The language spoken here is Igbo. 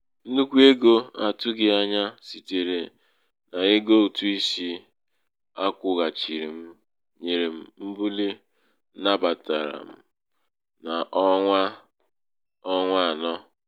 nnukwu ego a tụghị anya sitere n’ego ụ̀tụisi a kwụ̄ghàchirì m nyèrè m mbuli m nnabàtàrà n’ọnwa n’ọnwa anọ̀ à.